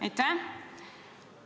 Aitäh!